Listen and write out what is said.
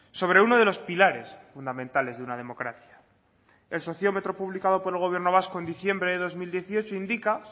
sobre uno de los pilares fundamentales de una democracia el sociómetro publicado por el gobierno vasco en diciembre de dos mil dieciocho indica